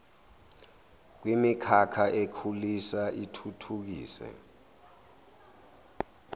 kwimikhakha ekhulisa ithuthukise